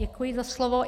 Děkuji za slovo.